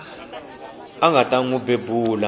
nga ta n wi bebula